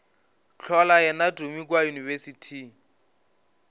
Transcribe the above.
hlola yena tumi kua yunibesithing